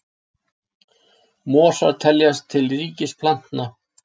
mosar teljast til ríkis plantna